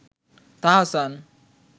Tahsan